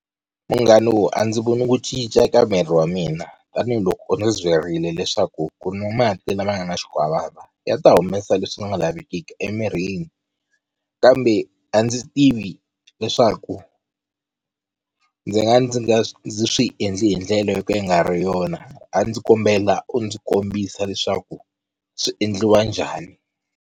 Munghano a ndzi voni ku cinca eka miri wa mina tanihiloko u ndzi byerile leswaku ku nwa mati lama nga ni xikwavava ya ta humesa leswi nga lavekiki emirini, kambe a ndzi tivi leswaku ndzi nga va ndzi swi endli hi ndlela yo ka yi nga ri yona a ndzi kombela u ndzi kombisa leswaku swi endliwa njhani.